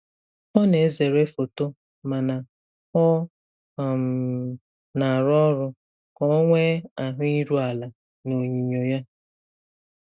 Ọ na-ezere foto mana ọ um na-arụ ọrụ ka ọ nwee ahụ iru ala n'onyinyo ya.